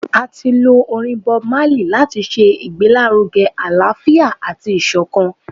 A ti lo orin BobMarley lati ṣe igbelaruge alaafia ati isokan.